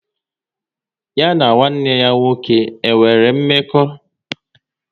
Ya na nwanne ya nwoke e nwere mmekọ?